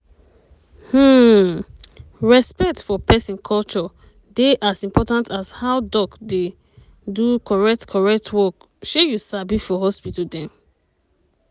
hmmm respect for peson culture dey as important as how doc dey do correct correct work shey you sabi for hospital dem.